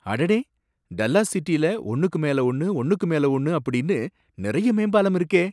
அடடே! டல்லாஸ் சிட்டில ஒன்னுக்கு மேல ஒன்னு ஒன்னுக்கு மேல ஒன்னு அப்படின்னு நறைய மேம்பாலம் இருக்கே!